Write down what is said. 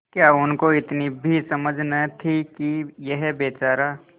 क्या उनको इतनी भी समझ न थी कि यह बेचारा